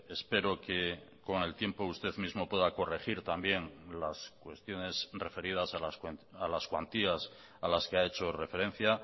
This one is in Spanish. espero que con el tiempo usted mismo pueda corregir también las cuestiones referidas a las cuantías a las que ha hecho referencia